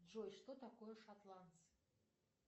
джой что такое шотландцы